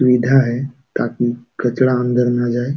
सुविधा है ताकि कचड़ा अंदर न जाए।